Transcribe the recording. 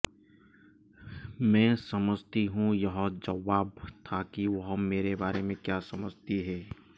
मैं समझती हूं यह जवाब था कि वह मेरे बारे में क्या समझती है